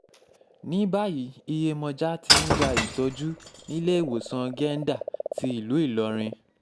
ní báyìí iyemọja tí ń gba ìtọ́jú níléemọ̀sán gẹ́ńdà ti ìlú ìlọrin